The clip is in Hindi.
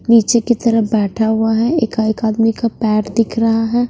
नीचे की तरफ बैठा हुआ है एका एक आदमी का पैर दिख रहा है।